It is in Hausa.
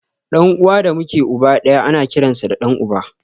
Ɗan uwa da muke uba ɗaya ana kiransa da ɗan uba